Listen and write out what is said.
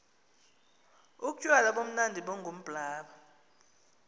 utywala bumnandi bungumblaba